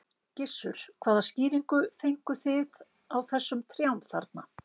Gissur: Hvaða skýringu fengu þig á þessum trjám þarna?